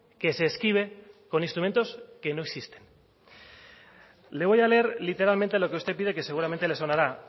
que se esquive con instrumentos que no existen le voy a leer literalmente lo que usted pide que seguramente le sonará